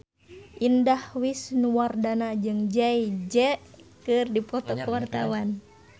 Indah Wisnuwardana jeung Jay Z keur dipoto ku wartawan